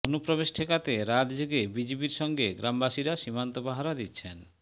অনুপ্রবেশ ঠেকাতে রাত জেগে বিজিবির সঙ্গে গ্রামবাসীরা সীমান্ত পাহারা দিচ্ছেন